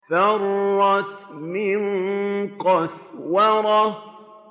فَرَّتْ مِن قَسْوَرَةٍ